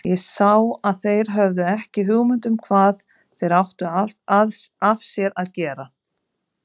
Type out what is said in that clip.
Ég sá að þeir höfðu ekki hugmynd um hvað þeir áttu af sér að gera.